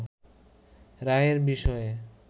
রায়ের বিষয়ে